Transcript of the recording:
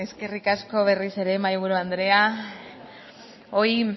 eskerrik asko berriro ere mahaiburu andrea